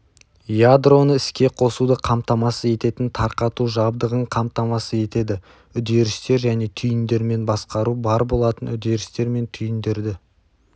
ядроны іске қосуды қамтамасыз ететін тарқату жабдығын қамтамасыз етеді үдерістер және түйіндермен басқару бар болатын үдерістер мен түйіндерді